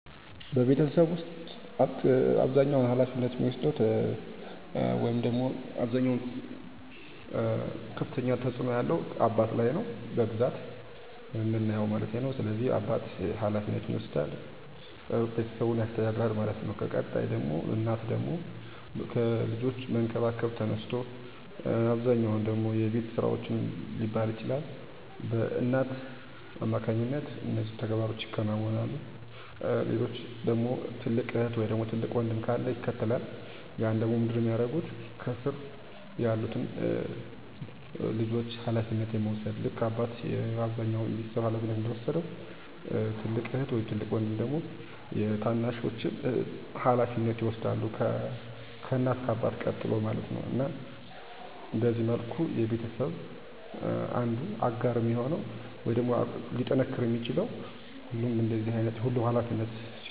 እርግጠኛ ነኝ፤ በቤተሰባችን ውስጥ እያንዳንዱ ሰው በሚከተሉት ልዩ ባህሪያት ይታወቃል - አባቴ በጣም የተረጋጋ እና ጠንካራ አለቃ ነው። ውሳኔ ሲያስገባ ሁሌ ጥሩ ምክር ይሰጣል። **እናቴ** ግልጽ የሆነች እና አፍቃሪች ናት። ቤቷን በፍቅር ትያዘው እና ለሁሉም እርዳታ ትደርሳለች። **ትልቁ ወንድሜ** ተሳሳቂ እና ቀልደኛ ነው። ማንኛውንም ሁኔታ በቀላሉ በሚስጥር ያቃልለዋል። **ትንሹ እህቴ** በጣም ፈጣሪ እና አስተያየት የምትሰጥ ናት። ሁል ጊዜ አዲስ ሀሳቦች አሉት። **እኔ** ደግሞ አዘጋጅ እና ሰላማዊ እንደ መሃከል ይታወቃለሁ። ቤተሰቡን ያስተባብራል እና ሰላም ይፈጥራል። ይህ ልዩነት ቤተሰባችንን የበለጠ ያስተባብራል እና ልዩ ያደርገዋል።